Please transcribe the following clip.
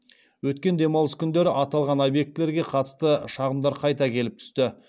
өткен демалыс күндері аталған объектілерге қатысты шағымдар қайта келіп түсті